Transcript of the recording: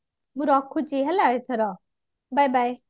ମୁଁ ରଖୁଛି ହେଲା ଏଥର bye bye